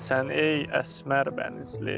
Sən ey əsmər bənizli.